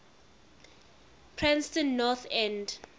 preston north end